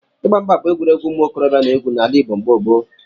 Ịgba mgba bụ egwuregwu ụmụ okorobịa na-egwu n'ala Igbo mgbe gboo.